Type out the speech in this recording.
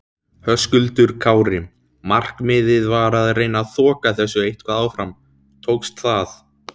Höskuldur Kári: Markmiðið var að reyna þoka þessu eitthvað áfram, tókst það?